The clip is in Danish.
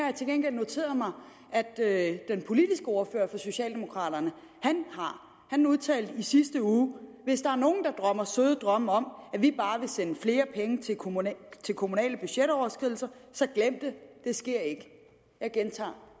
jeg til gengæld noteret mig at den politiske ordfører for socialdemokraterne har han udtalte i sidste uge hvis der er nogen der drømmer søde drømme om at vi bare vil sende flere penge ved kommunale kommunale budgetoverskridelser så glem det det sker ikke jeg gentager